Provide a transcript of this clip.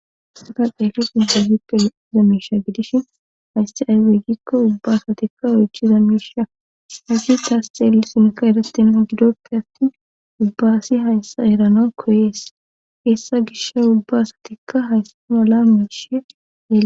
Isata dheli sintahippe eizamisha gidishin haysti aywe gikko ubba asatikka oychi zamisha hagi taasxeeli sinka erastenna gidoppe attin ubbaasi hayssa erana koyees eessa gisha ubba asatikka hayssa mala miishi eyee